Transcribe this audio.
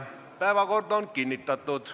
Päevakord on kinnitatud.